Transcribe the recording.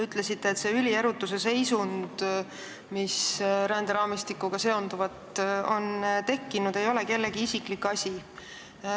Ütlesite, et see ülierutuse seisund, mis ränderaamistikuga seonduvalt on tekkinud, ei ole kellegi isiklik asi.